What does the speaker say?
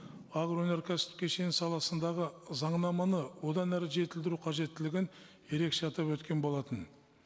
агроөнеркәсіптік кешені саласындағы заңнаманы одан әрі жетілдіру қажеттілігін ерекше атап өткен болатын